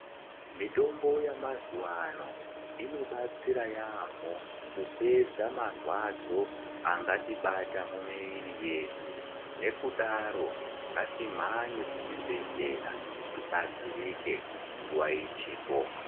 Mitombo yamazuwano inobatsira yaamho kupedza marwadzo angatibata mumiviri yedu. Nekudaro ngatimhanye kuzvibhedhleya tibatsirike nguwa ichipo.